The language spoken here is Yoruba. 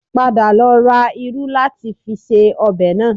Padà lọ ra irú láti fi se ọbẹ̀ náà